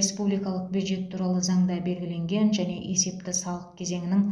республикалық бюджет туралы заңда белгіленген және есепті салық кезеңінің